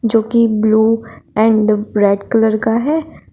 जो कि blue and bright colour के है।